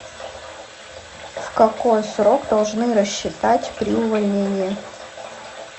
в какой срок должны рассчитать при увольнении